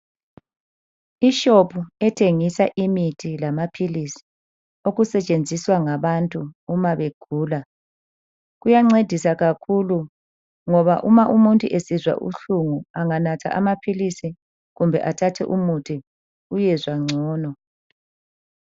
Ishopu ethengisa imithi lamaphilisi okusetshenziswa ngabantu uma begula kuyancedisa kakhulu ngoba uma umuntu esizwa ubuhlungu anganatha amaphilisi kumbe athathe umuthi uyezwa ngcono.